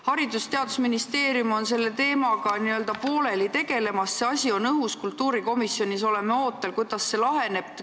Haridus- ja Teadusministeerium tegeleb selle teemaga n-ö pooleldi: asi on õhus ja me kultuurikomisjonis oleme ootel, kuidas see laheneb.